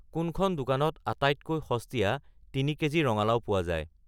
কোনখন দোকানত আটাইতকৈ সস্তীয়া তিনি কে.জি. ৰঙালাও পোৱা যায়